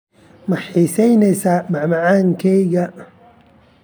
Ma xiisaynaysaa macmacaanka keega?